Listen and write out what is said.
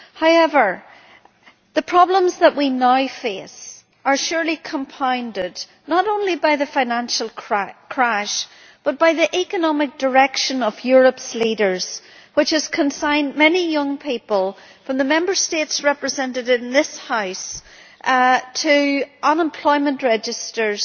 However, the problems that we now face are surely compounded not only by the financial crash, but also by the economic direction of Europe's leaders, which has consigned many young people from the Member States represented in this House to unemployment registers